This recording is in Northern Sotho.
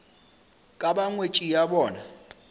ka ba ngwetši ya bona